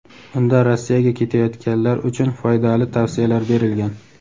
Unda Rossiyaga ketayotganlar uchun foydali tavsiyalar berilgan.